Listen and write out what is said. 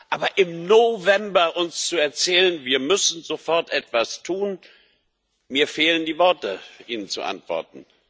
Aber uns im November zu erzählen, wir müssen sofort etwas tun mir fehlen die Worte, Ihnen zu antworten.